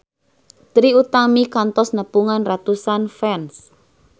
Trie Utami kantos nepungan ratusan fans